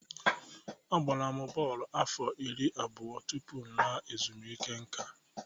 Agbara m bọọlụ afọ iri abụọ tupu m laa ezumike nká.